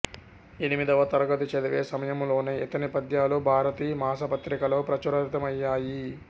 ఎనిమిదవ తరగతి చదివే సమయంలోనే ఇతని పద్యాలు భారతి మాసపత్రికలో ప్రచురితమయ్యాయి